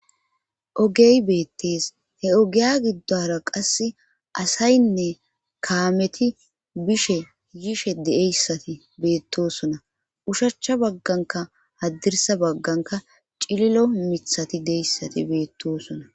Ogey beettees he ogiya giddora qasse asaynne kaameti bishe yishe deeyssati beettosona ushachcha bagganka haddirsa bagganka cililo mithati deyssati beettosona.